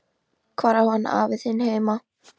Hvar á hann afi þinn heima?